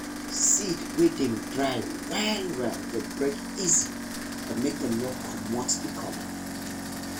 seed wey dem dry well well dey break easy but make dem no commot the color